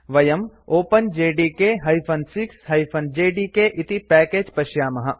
वयं openjdk 6 JDK इति package पश्यामः